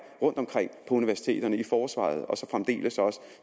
rundt omkring på universiteterne i forsvaret og så fremdeles